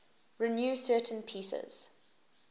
renew certain pieces